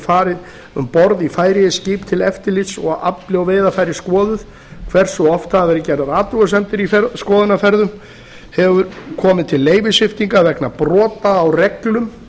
farið um borð í færeyskt skip til eftirlits og afli og veiðarfæri skoðuð hversu oft hafa verið gerðar athugasemdir í skoðunarferðum hefur komið til leyfissviptinga vegna brota á reglum